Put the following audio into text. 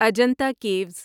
Ajanta Kiwis